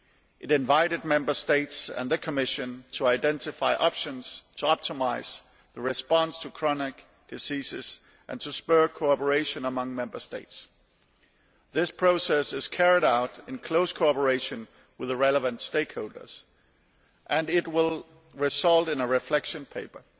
It invited Member States and the Commission to identify options to optimise the response to chronic diseases and spur cooperation among Member States. This process is carried out in close cooperation with the relevant stakeholders and will result in a reflection paper.